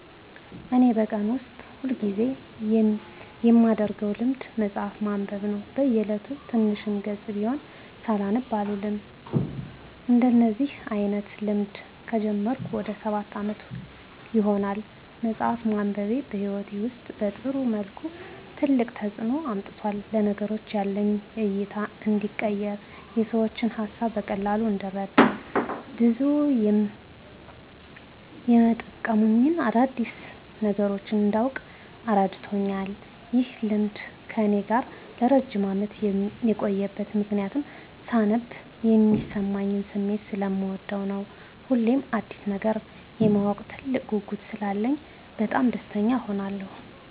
እኔ በቀን ውስጥ ሁል ጊዜ የማደረገው ልማድ መጽሀፍ ማንበብ ነው። በ እየለቱ ትንሽም ገፅ ብትሆን ሳላነብ አልውልም። እንደዚህ አይነት ልማድ ከጀመርኩ ወደ ሰባት አመት ይሆናል። መፅሃፍ ማንበቤ በህይወቴ ውስጥ በጥሩ መልኩ ትልቅ ተፅዕኖ አምጥቷል። ለነገሮች ያለኝ እይታ እንዲቀየር፣ የሰዎችን ሀሳብ በቀላሉ እንድረዳ፣ ብዙ የመጠቅሙኝን አዳዲስ ነገሮች እንዳውቅ እረድቶኛል። ይህ ልማድ ከእኔ ጋር ለረጅም አመት የቆየበት ምክንያትም ሳነብ የሚሰማኝን ስሜት ሰለምወደው ነው። ሁሌም አዲስ ነገር የማወቅ ትልቅ ጉጉት ስላለኝ በጣም ደስተኛ እሆናለሁ።